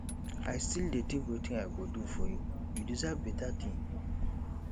i still dey think wetin i go do for you you deserve beta thing